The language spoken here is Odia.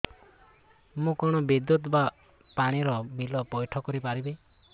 ମୁ କଣ ବିଦ୍ୟୁତ ବା ପାଣି ର ବିଲ ପଇଠ କରି ପାରିବି